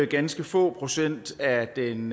ganske få procent af den